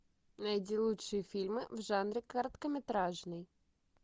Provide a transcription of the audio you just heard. найди лучшие фильмы в жанре короткометражный